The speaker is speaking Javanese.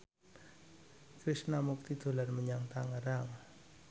Krishna Mukti dolan menyang Tangerang